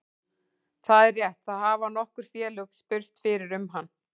Það er rétt, það hafa nokkur félög spurst fyrir um hann.